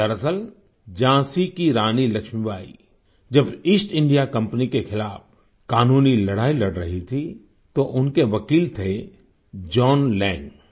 दरअसल झाँसी की रानी लक्ष्मीबाई जब ईस्ट इंडिया कंपनी के खिलाफ कानूनी लड़ाई लड़ रही थी तो उनके वकील थे जॉन लैंग जॉन Lang